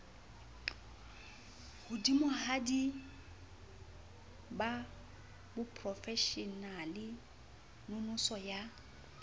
hodimohadi ba boprofeshenale nonoso ya